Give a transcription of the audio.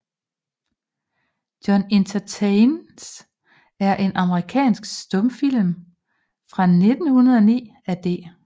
Jones Entertains er en amerikansk stumfilm fra 1909 af D